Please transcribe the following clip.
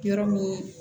Yɔrɔ min